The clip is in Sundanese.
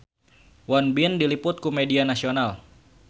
Won Bin diliput ku media nasional